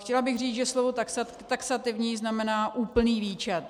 Chtěla bych říct, že slovo taxativní znamená úplný výčet.